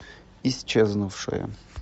исчезнувшая